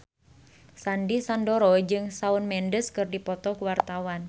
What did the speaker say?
Sandy Sandoro jeung Shawn Mendes keur dipoto ku wartawan